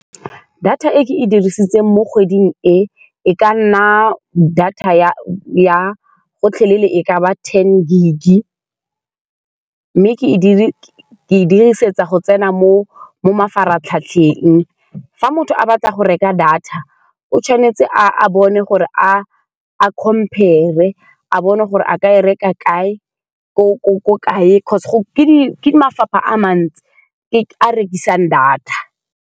Data e ke e dirisitseng mo kgweding e, e ka nna data ya ya gotlhelele. E ka ba ten gig mme ke e ke e dirisetsa go tsena mo mafaratlhatlheng, fa motho a batla go reka data, o tshwanetse a-a bone gore a-a compare, a bone gore a ka e reka kae ko-ko-ko kae, because ke di, ke mafapha a mantsi a a rekisang data.